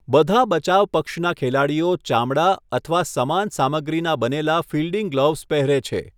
બધા બચાવ પક્ષના ખેલાડીઓ ચામડા અથવા સમાન સામગ્રીના બનેલા ફિલ્ડિંગ ગ્લોવ્ઝ પહેરે છે.